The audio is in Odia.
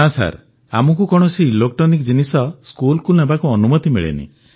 ନା ଆମକୁ କୌଣସି ଇଲେକ୍ଟ୍ରୋନିକ୍ ଜିନିଷ ସ୍କୁଲକୁ ନେବାକୁ ଅନୁମତି ମିଳେନାହିଁ